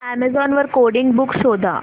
Amazon वर coding books शोधा